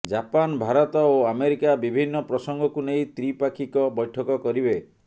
Japan Bharat ଓ America ବିଭିନ୍ନ ପ୍ରସଙ୍ଗକୁ ନେଇ ତ୍ରିପାକ୍ଷିକ ବୈଠକ କରିବେ